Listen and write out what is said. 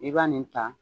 I b'a nin ta